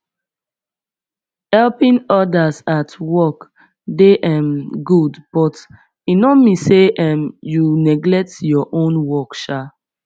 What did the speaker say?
helping others at work dey um good but e no mean say um you neglect your own work um